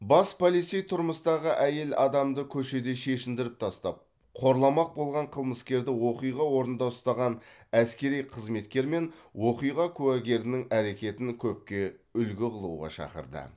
бас полицей тұрмыстағы әйел адамды көшеде шешіндіріп тастап қорламақ болған қылмыскерді оқиға орнында ұстаған әскери қызметкер мен оқиға куәгерінің әрекетін көпке үлгі қылуға шақырды